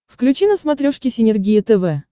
включи на смотрешке синергия тв